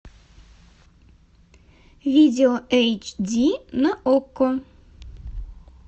видео эйч ди на окко